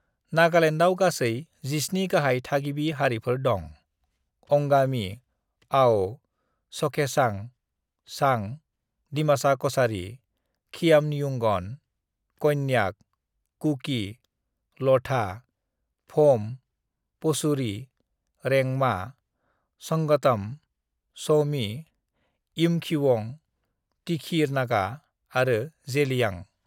"नागालैंडआव गासै 17 गाहाय थागिबि हारिफोर दं - अंगामी, आओ, चखेसांग, चांग, दिमासा कछारी, खियामनियुंगन, कोन्याक, कुकी, लोथा, फोम, पोचुरी, रेंगमा, संगतम, समी, यिमखिउंग, तिखिर नागा आरो जेलियांग।"